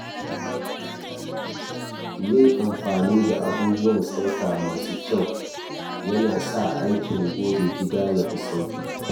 Yin amfani da abubuwan tsafta masu kyau yana sa aikin goge gida ya fi sauƙi.